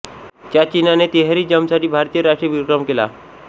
च्या चिन्हाने तिहेरी जंपसाठी भारतीय राष्ट्रीय विक्रम केला